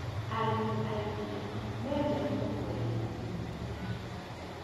Arĩmi aingĩ mendete kwendia iria kĩroko